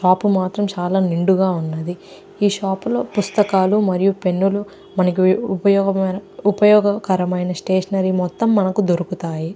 Shop మాత్రం చాలా నిండుగా ఉంటుంది. ఈ షాపు లో పుస్తకాలు మరియు పెన్ను లు మనకుఉపయోగము ఉప ఉపయోగకరమైన స్టేషనరీ మొత్తం మనకు దొరుకుతాయి.